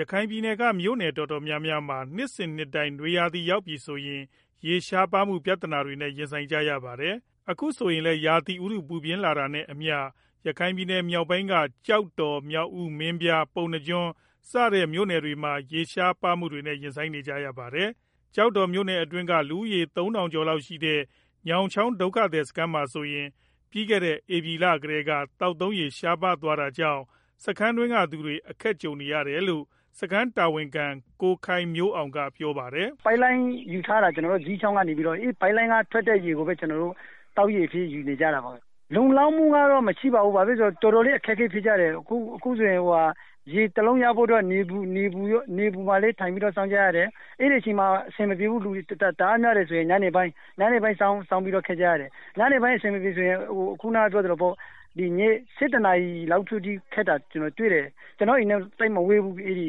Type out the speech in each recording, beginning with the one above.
ရခိုင်ပြည်နယ်က မြို့နယ်တော်တော်များများမှာ နှစ်စဉ်နှစ်တိုင်း နွေရာသီရောက်ပြီဆိုရင် ကျေးရှားပါးမှု ပြဿနာတွေနဲ့ ရင်ဆိုင်ကြရပါတယ်။ အခုဆိုရင်လည်း ရာသီဥတု ပူပြင်းလာတာနဲ့အမျှ ရခိုင်မြောက်ပိုင်းက ကျောက်တော်၊ မြောက်ဦး၊ မင်းပြား၊ ပုဏ္ဏားကျွန်းစတဲ့ မြို့နယ်တွေမှာ ရေရှားမှုတွေနဲ့ ရင်ဆိုင်နေကြရပါတယ်။ ကျော်တော်မြို့နယ်အတွင်းက လူဦးရေ ၃,၀၀၀ ကျော်လောက်ရှိတဲ့ ညောင်းချောင်း ဒုက္ခသည်စခန်းမှာဆိုရင်လည်း ပြီးခဲ့တဲ့ ဧပြီလကတည်းက သောက်သုံးရေ ရှားပါးသွားတာကြောင့် စခန်းတွင်းကသူတွေ အခက်ကြုံနေရတယ်လို့ စခန်းတာဝန်ခံ ကိုခိုင်မျိုးအောင်က ပြောပါတယ်။ “ပိုက်လိုင်းယူထားတာ ဇီးချောင်းကနေပြီးတော့ အဲဒီပိုက်လိုင်းက ထွက်တဲ့ ရေကိုပဲ ကျနော်တို့ သောက်ရေအဖြစ်ယူနေကြတာပေါ့။ လုံလောက်မှုကတော့ မရှိပါဘူး။ တော်တော်လေး အခက်အခဲဖြစ်ကြတယ်။ အခုဆိုရင် ရေတစ်အိုးရဖို့အတွက် နေပူမှာလည်း ထိုင်ပြီးတော့ စောင့်ကြရတယ်။ အဲဒီမှာ အဆင်မပြေဘူး။ လူတွေ တအားများတယ်ဆိုရင် ညဘက် ၁၁ နာရီလောက်အထိ စောင့်ပြီးတော့ ရေခပ်ကြတာကို ကျနော်တွေ့တယ်။ ရေခပ်တဲ့ နေရာက ကျနော့်အိမ်နဲ့ သိပ်မဝေးဘူး ရေပေးထားတဲ့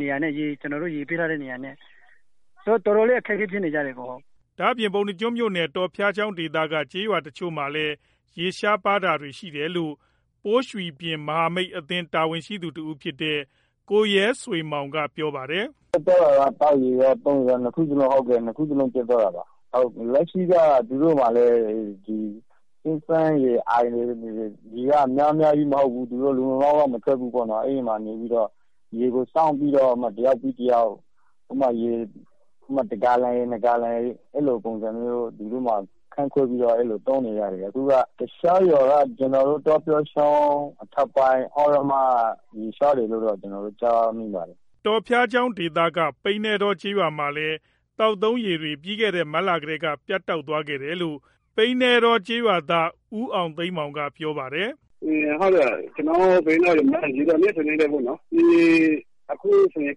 နေရာနဲ့ပေါ့၊ ဆိုတော့ တော်တော်လေး အခက်အခဲဖြစ် နေကြပါတယ်။” ဒါအပြင့် ပုဏ္ဏားကျွန်းမြို့နယ် တော်ဖျားချောင်းဒေသက ကျေးရွာတချို့မှာလည်း ရေရှားပါးတာတွေ ရှိတယ်လို့ ပိုးရွီှပြင်မဟာမိတ်အသင်း တာဝန်ရှိသူတစ်ဦးဖြစ်တဲ့ ကိုရဲဆွေမောင်က ပြောပါတယ်။ “ပြတ်သွားတာက သောက်ရေရော၊ သုံးရေရော နှစ်ခုစလုံးပြတ်သွားတာပါ။ လက်ရှိမှာတော့ သူတို့ အင်းတွေ၊ အိုင်တွေက ရေက များများလည်း မဟုတ်ဘူး။ လုံလုံလောက်လောက် မထွက်ဘူးပေါ့နော်။ အဲဒီမှာနေပြီးတော့ ရေကိုစောင့်ပြီးတော့ တစ်ယောက်ပြီး တစ်ယောက် အဲဒီမှာ တဂါလံ နှစ်ဂါလံ အဲဒီလို ခွဲပြီးတော့ သုံးနေရတယ်ဗျာ။ တခြားရွာတွေကတော့ ကျနော်တို့ တောဖျားချောင်းအထက်ပိုင်း သြရမ ကျေးရွာမှာလည်း ရေရှားနေတယ်လို့ သိရပါတယ်။” တောဖျားချောင်းဒေသက ပိန္နဲတောကျေးရွာမှာလည်း သောက်ရေ သုံးရေတွေ ပြီးခဲ့တဲ့ မတ်လကတည်းက ပြတ်တောက်သွားတယ်လို့ ပိန္နဲတောကျေးရွာသား ဦးအောင်သိန်းမောင် ကပြောပါတယ်။ “ကျနော်တို့ ရွာမှာ ရေရှားတာက နှစ်စဉ်နှစ်တိုင်းပေါ့နော်။ အခုဆိုရင်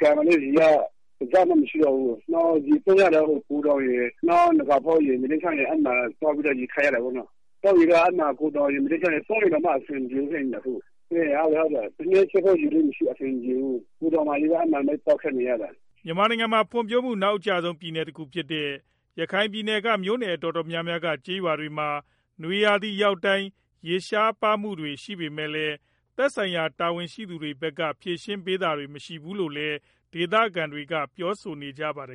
ရွာမှာ ကန်ရေကလည်း တစ်စက်မှ မရှိတော့ဘူး။ ရေကတော့ ဂူတောင်ရယ်၊ တခြားရွာတွေမှာ သွားခပ်ရ တာပေါ့နော်။ သောက်ရေမပြောနဲ့ သုံးရေတောင်မှ အဆင်မပြေဘူးဖြစ်နေတယ်အခုက။ ထမင်းချက်ဖို့ ရေတောင် အဆင်မပြေဘူး။ ဂူတောင်မှာပဲ သွားခပ်နေရတာ။” မြန်မာနိုင်ငံမှာ ဖွံ့ဖြိုးမှု နောက်အကျဆုံး ပြည်နယ်တခုဖြစ်တဲ့ ရခိုင်ပြည်နယ်က မြို့နယ်တော်တော်များများက ကျေးရွာတွေမှာ နွေရာသီရောက်တိုင်း ရေရှားပါးမှုတွေ ရှိနေပေမဲ့လည်း သက်ဆိုင်ရာတာဝန်ရှိသူတွေဘက်က ဖြေရှင်းပေးတာတွေ မရှိဘူးလို့လည်း ဒေသခံတွေက ပြောဆိုကြပါတယ်